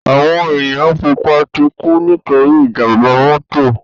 Áwòn éniyàn púpò tikú nitóri ijàmbá mòtó